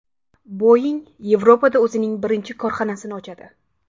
Boeing Yevropada o‘zining birinchi korxonasini ochadi.